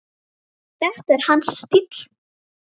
Þetta var hans stíll.